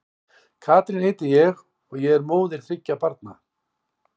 Katrín heiti ég og og er móðir þriggja barna.